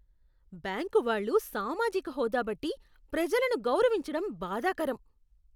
Bank వాళ్ళు సామాజిక హోదా బట్టి ప్రజలను గౌరవించడం బాధాకరం.